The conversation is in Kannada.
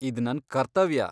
ಇದ್ ನನ್ ಕರ್ತವ್ಯ.